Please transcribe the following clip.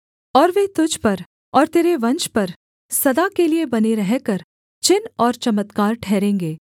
और वे तुझ पर और तेरे वंश पर सदा के लिये बने रहकर चिन्ह और चमत्कार ठहरेंगे